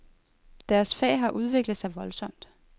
Deres fag har udviklet sig voldsomt.